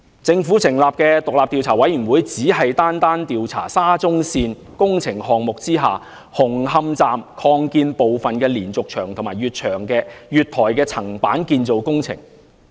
政府成立的獨立調查委員會，只是單單調查沙中線工程項目下紅磡站擴建部分的連續牆及月台的層板建造工程。